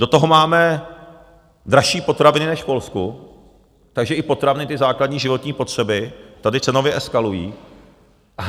Do toho máme dražší potraviny než v Polsku, takže i potraviny, ty základní životní potřeby, tady cenově eskalují.